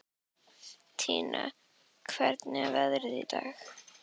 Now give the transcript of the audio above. Tanía, hvernig er veðrið í dag?